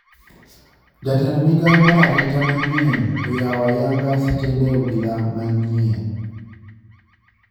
Jatend migao mar arita mayie oyao ayanga tisende obila manyien